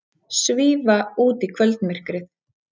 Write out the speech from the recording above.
Svífa út í kvöldmyrkrið.